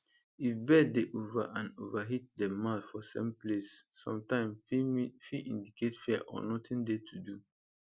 if bird dey over and over hit dem mouth for same place sometim fit indicate fear or nothing dey to do